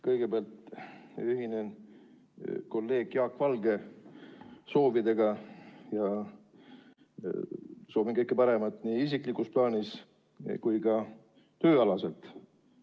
Kõigepealt ühinen kolleeg Jaak Valge soovidega ja soovin samuti teile kõike paremat nii isiklikus plaanis kui ka tööalaselt.